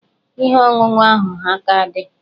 Ihe ọṅụṅụ ahụ ha a ka dị?